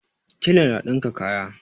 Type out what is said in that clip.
Tela na dinka kaya